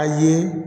A ye